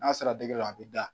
N'a sera dɔ la a bɛ da.